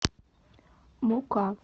мука